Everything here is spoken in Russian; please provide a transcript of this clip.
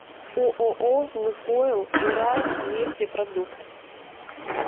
ооо лукойл уралнефтепродукт